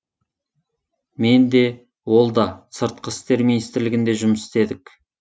мен де ол да сыртқы істер министрлігінде жұмыс істедік